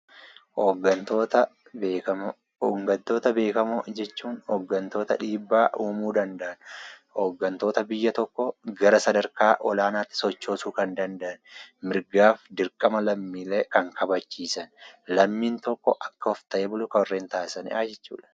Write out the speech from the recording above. Hooggantoota beekamoo, hooggantoota beekamoo jechuun hooggantoota dhiibbaa uumuu danda'an, hooggantoota biyya tokkoo gara sadarkaa olaanaatti sochoosuu kan danda'an, mirgaaf dirqama lammiilee kan kabachiisan, lammiin tokko akka of ta'ee bulu warreen taasisanidhaa jechuudha.